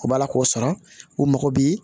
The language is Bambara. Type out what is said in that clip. U b'a la k'o sara u mago bi